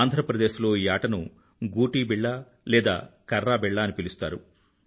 ఆంధ్రప్రదేశ్ లో ఈ ఆటను గూటీబిళ్ల లేదా కర్రాబిళ్ల అనీ పిలుస్తారు